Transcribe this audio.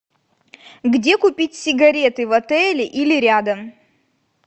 где купить сигареты в отеле или рядом